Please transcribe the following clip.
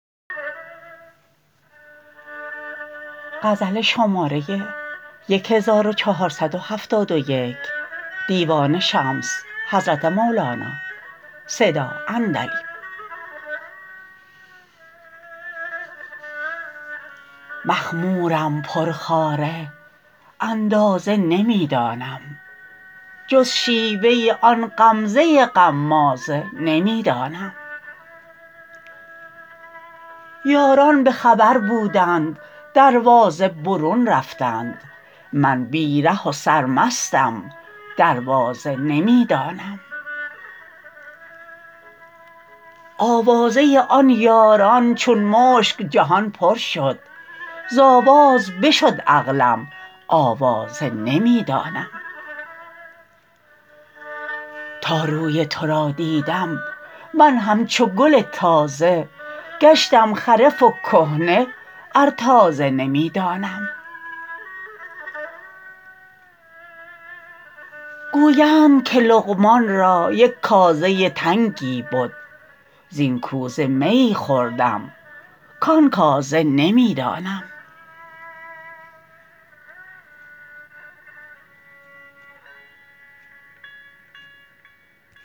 مخمورم پرخواره اندازه نمی دانم جز شیوه آن غمزه غمازه نمی دانم یاران به خبر بودند دروازه برون رفتند من بی ره و سرمستم دروازه نمی دانم آوازه آن یاران چون مشک جهان پر شد ز آواز بشد عقلم آوازه نمی دانم تا روی تو را دیدم من همچو گل تازه گشتم خرف و کهنه ار تازه نمی دانم گویند که لقمان را یک کازه تنگی بد زین کوزه میی خوردم کان کازه نمی دانم